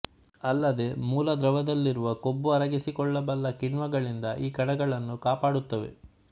ಅಲ್ಲದೆ ಮೂಲ ದ್ರವದಲ್ಲಿರುವ ಕೊಬ್ಬು ಅರಗಿಸಿಕೊಳ್ಳಬಲ್ಲ ಕಿಣ್ವಗಳಿಂದ ಈ ಕಣಗಳನ್ನು ಕಾಪಾಡುತ್ತವೆ